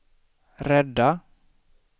rädda